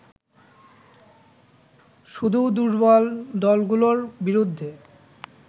শুধু দুর্বল দলগুলোর বিরুদ্ধে